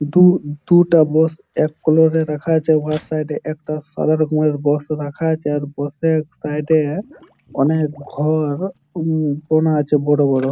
দু দুটো বাস এক কালার -এর রাখা আছে | ওআর সাইড একটা সাদা রকমের বাস রাখা আছে | আবার বাস -এর সাইড -এ অনেক ঘর বোনা আছে বড় বড় ।